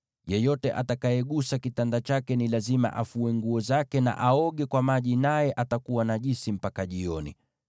Yeyote atakayegusa kitanda chake ni lazima afue nguo zake na aoge kwa maji, naye atakuwa najisi mpaka jioni.